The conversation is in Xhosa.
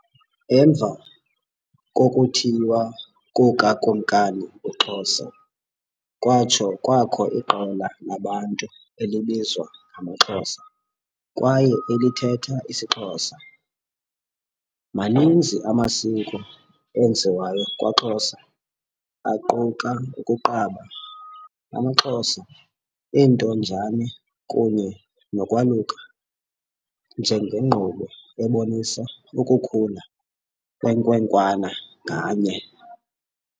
Emva kokuthiywa kukaKumkani uXhosa kwatsho kwakho iqela labantu elibizwa ngamaXhosa kwaye elithetha isiXhosa. Maninzi amasiko enziwayo kwaXhosa aquka ukuqaba, AmaXhosa intonjane kunye nokwaluka njengekqubo ebonisa ukukhula kwenkwenkwana nganye.